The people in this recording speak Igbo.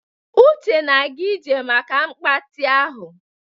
Uche na-aga ije maka mgbatị ahụ.